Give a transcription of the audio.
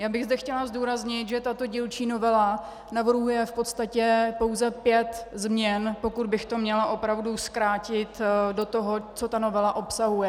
Já bych zde chtěla zdůraznit, že tato dílčí novela navrhuje v podstatě pouze pět změn, pokud bych to měla opravdu zkrátit do toho, co ta novela obsahuje.